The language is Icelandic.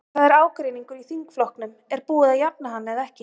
En það er ágreiningur í þingflokknum, er búið að jafna hann eða ekki?